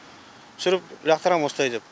түсіріп лақтырам осылай деп